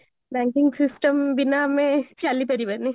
Banking system ବିନା ଆମେ ଚାଲି ପାରିବାନି